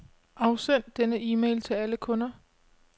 Afsend denne e-mail til alle kunder.